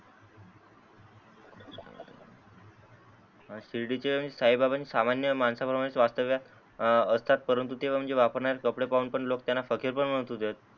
शिर्डीचे साई बाबा सामान्य मानसा प्रमाणे वास्तव्यात असतात परंतु तेव्हा म्हणजे वापरणारे कपडे पाहून लोक त्यांना फकीर पण म्हणत होते.